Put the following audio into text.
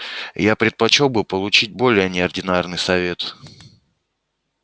я предпочёл бы получить более неординарный совет